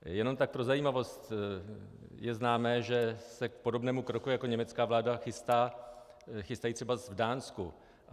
Jen tak pro zajímavost, je známo, že se k podobnému kroku jako německá vláda chystají třeba v Dánsku.